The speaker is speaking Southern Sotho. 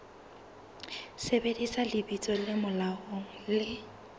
sebedisa lebitso le molaong le